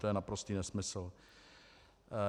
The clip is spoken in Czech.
To je naprostý nesmysl.